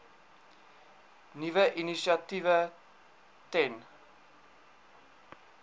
nuwe initiatiewe ten